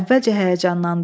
Əvvəlcə həyəcanlandı.